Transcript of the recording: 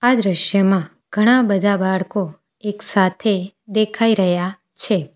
આ દ્રશ્યમાં ઘણા બધા બાળકો એક સાથે દેખાય રહ્યા છે.